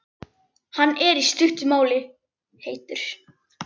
Hann er, í stuttu máli, heitur.